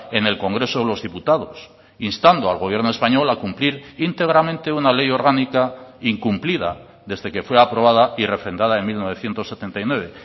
en el congreso de los diputados instando al gobierno español a cumplir íntegramente una ley orgánica incumplida desde que fue aprobada y refrendada en mil novecientos setenta y nueve